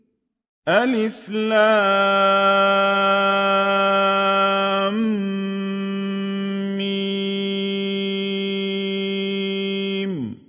الم